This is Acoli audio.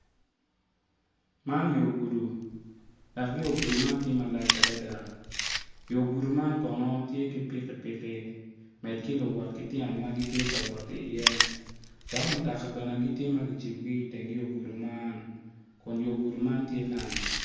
Man yo gudo atura dok atura man tye kala maleng kun tye matar kun nyig kic acel tye ma opye i kom atura man kun nyig kic tye ka cwe=iyo moc atura man kun nyig kic man ngey tye ma tye yeryer